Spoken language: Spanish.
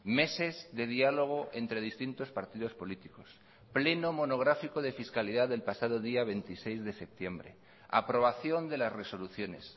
meses de diálogo entre distintos partidos políticos pleno monográfico de fiscalidad del pasado día veintiséis de septiembre aprobación de las resoluciones